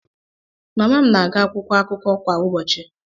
Mama m na-agụ akwụkwọ akụkọ kwa ụbọchị.